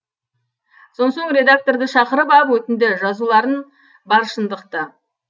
сонсоң редакторды шақырып ап өтінді жазуларын бар шындықты